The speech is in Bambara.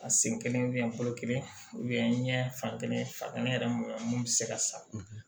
A sen kelen kelen ɲɛ fan kelen fa kelen yɛrɛ moya mun be se ka sa